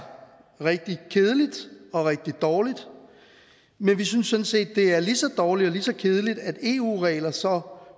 rigtig kedeligt og rigtig dårligt men vi synes sådan set det er lige så dårligt og lige så kedeligt at eu regler så